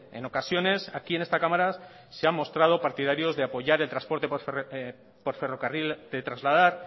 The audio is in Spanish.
en ocasiones aquí en esta cámara se han mostrado partidarios de apoyar el transporte por ferrocarril de trasladar